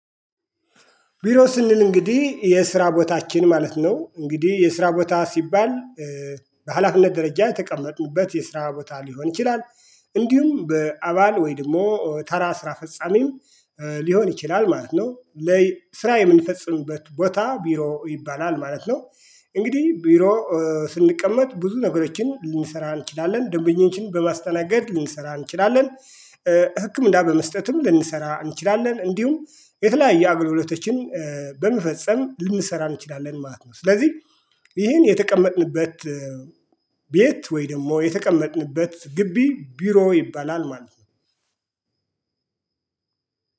ቢሮ ስንል እንግዲህ የስራ ቦታችን ማለት ነው እንግዲህ የስራ ቦታ ሲባል በሃላፊነት ደረጃ የተቀመጥንበት የስራ ቦታ ሊሆን ይችላል እንዲሁም በአባል ወይ ደሞ ተራ ስራ ፈጻሚም ሊሆን ይችላል ማለት ነው። ስራ የምንፈጽምበት ቦታ ቢሮ ይባላል ማለት ነው። እንግዲህ ቢሮ ስንቀመጥ ብዙ ነገሮችን ልንሰራ እንችላለን ደንበኞችን በማስተናገድ ልንሰራ እንችላለን። ህኪምና በመስጠትም ልንሰራ እንችላለን እንዲሁም የተለያየ አገልግሎቶችን በመፈጽም ልንሰራ እንችላለን ማለት ነው። ስለዚህ ይሄን የተቀመጥንበት ቤት ወይ ደግሞ የተቀመጥንበት ግቢ ቢሮ ይባላል ማለት ነው።